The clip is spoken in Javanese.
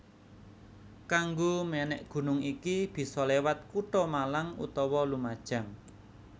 Kanggo mènèk gunung iki bisa liwat kutha Malang utawa Lumajang